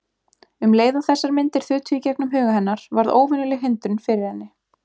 Um leið og þessar myndir þutu í gegnum huga hennar varð óvenjuleg hindrun fyrir henni.